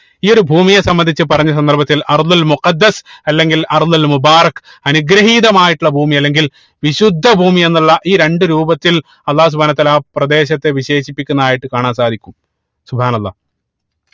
ഈ ഒരു ഭൂമിയെ സംബന്ധിച്ച് പറഞ്ഞ സന്ദർഭത്തിൽ അല്ലെങ്കിൽ അനുഗ്രഹീതമായിട്ടുള്ള ഭൂമി അല്ലെങ്കിൽ വിശുദ്ധ ഭൂമിയെന്നുള്ള ഈ രണ്ട് രൂപത്തിൽ അള്ളാഹു സുബ്‌ഹാനഉ വതാല ആ പ്രദേശത്തെ വിശേഷിപ്പിക്കുന്നതായിട്ട് കാണാൻ സാധിക്കും